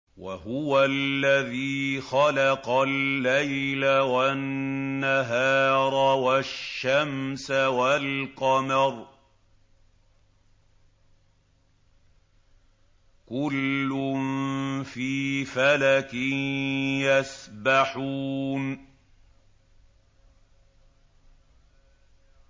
وَهُوَ الَّذِي خَلَقَ اللَّيْلَ وَالنَّهَارَ وَالشَّمْسَ وَالْقَمَرَ ۖ كُلٌّ فِي فَلَكٍ يَسْبَحُونَ